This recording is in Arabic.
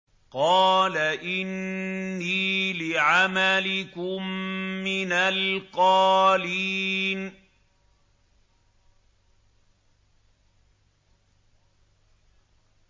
قَالَ إِنِّي لِعَمَلِكُم مِّنَ الْقَالِينَ